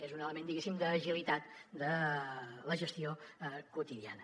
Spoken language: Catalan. és un element diguéssim d’agilitat de la gestió quotidiana